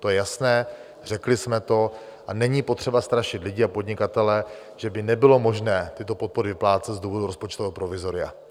To je jasné, řekli jsme to a není potřeba strašit lidi a podnikatele, že by nebylo možné tyto podpory vyplácet z důvodu rozpočtového provizoria.